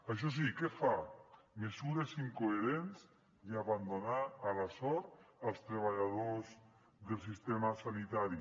això sí què fa mesures incoherents i abandonar a la sort els treballadors del sistema sanitari